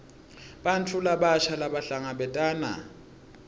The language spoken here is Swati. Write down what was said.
bantfu labasha labahlangabetana